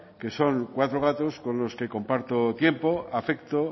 que son cuatro gatos con los que comparto tiempo afecto